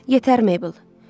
Yetər, Maybl.